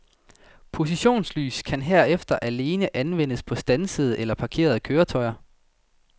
Positionslys kan herefter alene anvendes på standsede eller parkerede køretøjer.